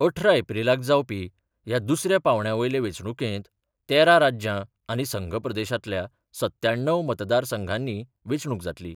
अठरा एप्रीलाक जावपी ह्या दुसऱ्या पांवड्या वयले वेंचणुकेंत तेरा राज्यां आनी संघप्रदेशांतल्या सत्याण्णव मतदारसंघांनी वेंचणूक जातली.